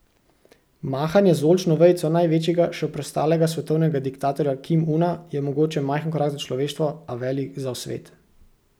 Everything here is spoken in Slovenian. Mahanje z oljčno vejico največjega še preostalega svetovnega diktatorja Kim Una je mogoče majhen korak za človeštvo, a velik za svet.